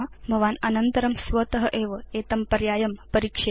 भवान् अनन्तरं स्वत एव एतं पर्यायं परीक्षेत